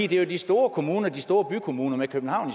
det er jo de store kommuner de store bykommuner med københavn